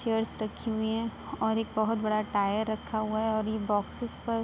chairs रखी हुई हैं और एक बोहोत बड़ा टायर रखा हुआ है और ये बॉक्‍सेस पर --